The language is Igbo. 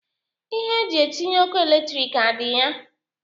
Ihe eji etinye ọkụ eletrik adị ya?